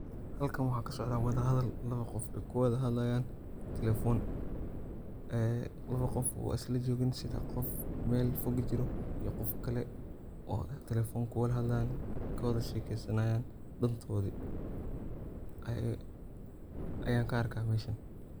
Halkan waxaa kasocda wada hadal labo qof ay kuwada hadlayan talefon, ee wuxu qof asaga lajogin sida qof Mel fog jiro iyo qof kale oo talefon kuwada hadlayan, kawada shekesanayan dantoodi ee ayan ka arkaa meshan